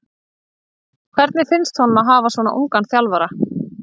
Hvernig finnst honum að hafa svona ungan þjálfara?